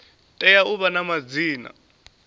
tea u vha na madzina